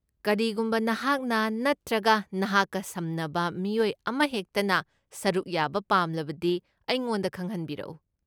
ꯀꯔꯤꯒꯨꯝꯕ ꯅꯍꯥꯛꯅ ꯅꯠꯇ꯭ꯔꯒ ꯅꯍꯥꯛꯀ ꯁꯝꯅꯕ ꯃꯤꯑꯣꯏ ꯑꯃꯍꯦꯛꯇꯅ ꯁꯔꯨꯛ ꯌꯥꯕ ꯄꯥꯝꯂꯕꯗꯤ, ꯑꯩꯉꯣꯟꯗ ꯈꯪꯍꯟꯕꯤꯔꯛꯎ꯫